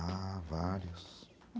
Ah, vários.